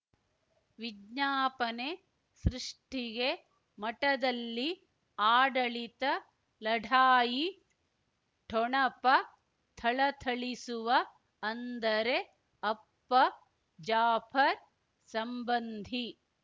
ವಿಜ್ಞಾಪನೆ ಸೃಷ್ಟಿಗೆ ಮಠದಲ್ಲಿ ಆಡಳಿತ ಲಢಾಯಿ ಠೊಣಪ ಥಳಥಳಿಸುವ ಅಂದರೆ ಅಪ್ಪ ಜಾಫರ್ ಸಂಬಂಧಿ